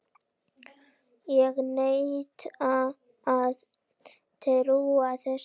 Ég neita að trúa þessu!